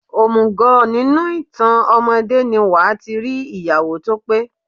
Òmùgọ̀, nínú ìtàn ọmọdé ni wàá ti rí ìyàwó tó pé.